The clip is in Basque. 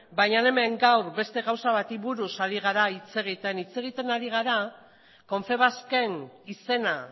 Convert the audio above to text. baina hemen gaur beste gauza bati buruz ari gara hitz egiten hitz egiten ari gara confebask en izena